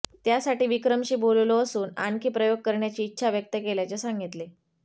त्यासाठी विक्रमशी बोललो असून आणखी प्रयोग करण्याची इच्छा व्यक्त केल्याचे सांगितले